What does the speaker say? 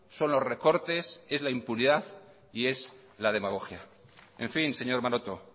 son los recortes es la impunidad y es la demagogia en fin señor maroto